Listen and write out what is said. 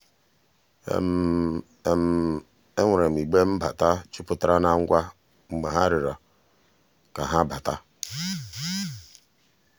enwere m igbe mbata juputara na ngwa mgbe ha rịọrọ ka ha bata.